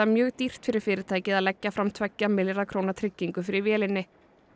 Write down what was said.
mjög dýrt fyrir fyrirtækið að leggja fram tveggja milljarða króna tryggingu fyrir vélinni